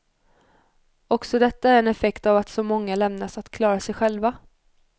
Också detta är en effekt av att så många lämnas att klara sig själva.